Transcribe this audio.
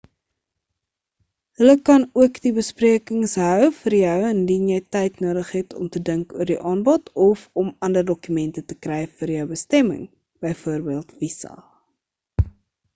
hulle kan ook die besprekings hou vir jou indien jy tyd nodig het om te dink oor die aanbod of om ander dokumente te kry vir jou bestemming bv visa